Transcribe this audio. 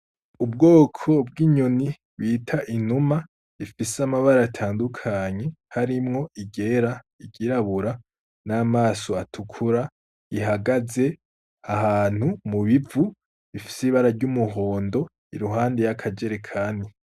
Ubwoko bw'inyoni bita inuma ifise amabara atandukanye harimwo iryera, iryirabura n'amaso atukura ihagaze ahantu mu bivu bifise ibara ry'umuhondo iruhande y'akajerekani.